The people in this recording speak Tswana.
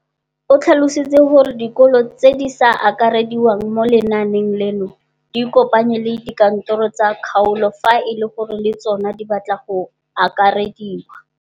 O tlhalositse gore dikolo tse di sa akarediwang mo lenaaneng leno di ikopanye le dikantoro tsa kgaolo fa e le gore le tsona di batla go akarediwa.